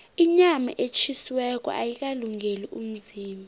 inyama etjhisiweko ayikalungeli umzimba